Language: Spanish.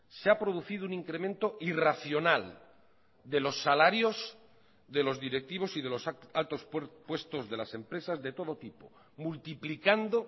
se ha producido un incremento irracional de los salarios de los directivos y de los altos puestos de las empresas de todo tipo multiplicando